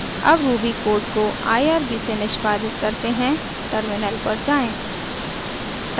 अब ruby code को irb से निष्पादित करते हैं टर्मिनल पर जाएँ